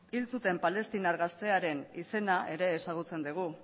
hil zuten palestinar gaztearen izena ere ezagutzen dugu